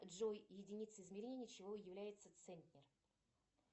джой единицей измерения чего является центнер